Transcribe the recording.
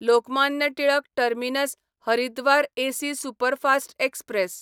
Lokmanya Tilak terminus Haridwar AC superfast express